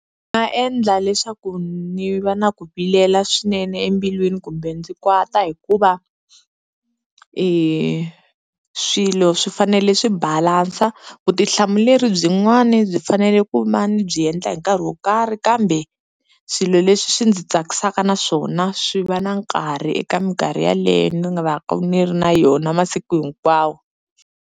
Ndzi nga endla leswaku ni va na ku vilela swinene embilwini kumbe ndzi kwata hikuva i swilo swi fanele swi balansa, vutihlamuleri byi n'wani byi fanele ku va ni byi endla hi nkarhi wo karhi kambe swilo leswi swi ndzi tsakisaka na swona swi va na nkarhi eka minkarhi yaleyo ni nga va ka ni ri na yona masiku hinkwawo.